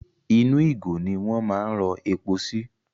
Inú ìgò ni wọ́n máa ń rọ epo sí.